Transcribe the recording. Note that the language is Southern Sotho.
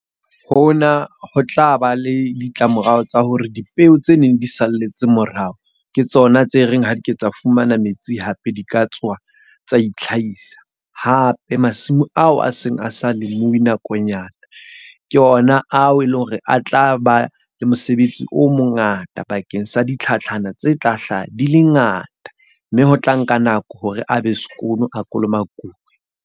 Ho na ho tlaba le ditlamorao tsa hore dipeo tse neng di salletse morao, ke tsona tse reng ha di ke tsa fumana metsi hape di ka tsoha tsa itlhahisa. Hape masimo ao a seng a sa lemuwi nakonyana, ke ona ao e leng hore a tla ba le mosebetsi o mongata bakeng sa di tlhatlhana tse tla hlaha di le ngata. Mme ho tla nka nako hore a be skoon a kolomakuwa.